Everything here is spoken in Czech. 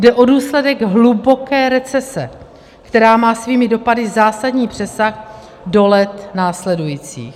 Jde o důsledek hluboké recese, která má svými dopady zásadní přesah do let následujících.